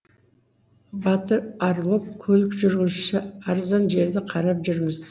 батыр орлов көлік жүргізуші арзан жерді қарап жүрміз